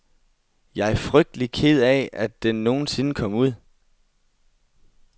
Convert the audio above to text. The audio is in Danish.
Jeg frygtelig ked af, at den nogen sinde kom ud.